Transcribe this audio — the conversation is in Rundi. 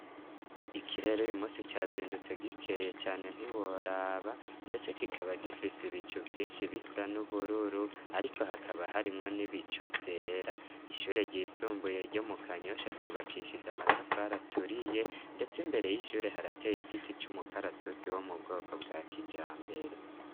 Ikirere uyu munsi cazindutse gikeye cane ntiworaba ndetse ikikaba gifise ibicu vyinshi bisa n'ubururu ariko hakaba harimwo n'ibicu vyera ishure ry'isumbuye ryo mu Kanyosha ryubakishije amatafari aturiye ndetse imbere y'ishure harateye igiti c'umukaratusi wo mu bwoko bwa kijambere.